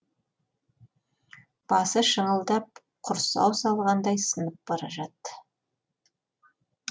басы шыңылдап құрсау салғандай сынып бара жатты